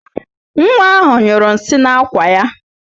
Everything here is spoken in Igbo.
Nwa ahụ nyụrụ nsị n'ákwà ya